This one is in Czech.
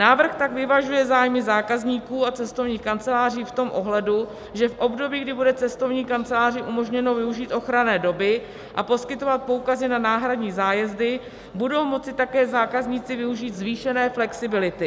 Návrh tak vyvažuje zájmy zákazníků a cestovních kanceláří v tom ohledu, že v období, kdy bude cestovní kanceláři umožněno využít ochranné doby a poskytovat poukazy na náhradní zájezdy, budou moci také zákazníci využít zvýšené flexibility.